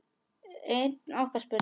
Einn okkar spurði